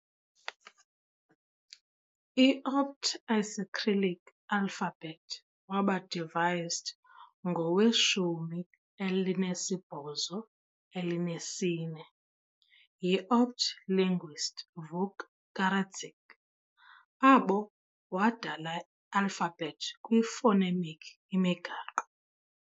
I-opt. Isicyrillic alphabet waba devised ngowe-1814 yi-opt. linguist Vuk Karadžić, abo wadala alphabet kwi phonemic imigaqo.